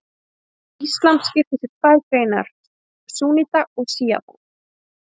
Íslam skiptist í tvær greinar, súnníta og sjíta.